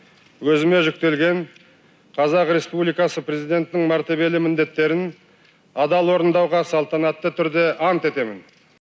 өзіме жүктелген қазақ республикасы президентінің мәртебелі міндеттерін адал орындауға салтанатты түрде ант етемін